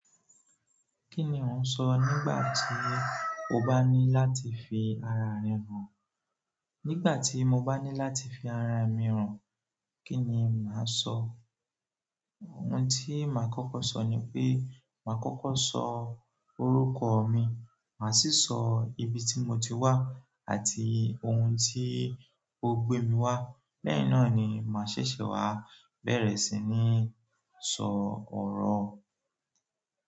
Kí ni ò ń sọ nígbà tí o bá ní láti fi ara rẹ hàn? Nígbà tí mo bá ní láti fi ara mi hàn, kí ni màá sọ? Ohun tí màá kọ́kọ́ sọ ni pé, màá kọ́kọ́ sọ orúkọ mi, màá sì sọ ibi tí mo ti wá àti ohun tí ó gbé mi wá. Lẹ́yìn náà ni màá ṣẹ̀ṣẹ̀ wá bẹ̀rẹ̀ sí ní sọ ọ̀rọ̀.